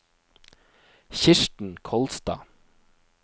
Kirsten Kolstad